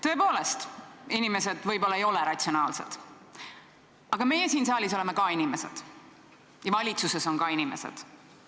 Tõepoolest, inimesed võib-olla ei ole ratsionaalsed, aga meie siin saalis oleme ka inimesed ja valitsuses on ka inimesed.